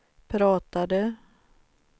pratade